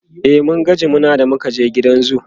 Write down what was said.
e mun ga jimina da muka je gidan zoo